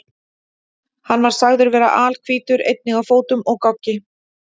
Hann var sagður vera alhvítur, einnig á fótum og goggi.